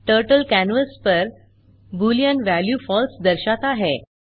turtle canvas पर Boolean value false दर्शाता है